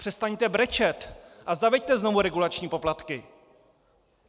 Přestaňte brečet a zaveďte znovu regulační poplatky!